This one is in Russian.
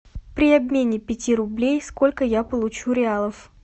при обмене пяти рублей сколько я получу реалов